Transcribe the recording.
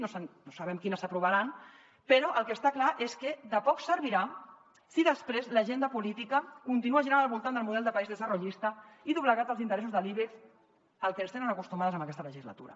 no sabem quines s’aprovaran però el que està clar és que de poc servirà si després l’agenda política continua girant al voltant del model de país desarrollista i doblegat als interessos de l’ibex al que ens tenen acostumades en aquesta legislatura